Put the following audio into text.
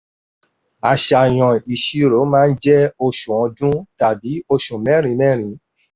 àṣàyàn ìṣirò máa ń jẹ́ oṣù ọdún tàbí osù mẹ́rin-mẹ́rin.